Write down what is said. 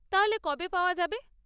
তাহলে কবে পাওয়া যাবে?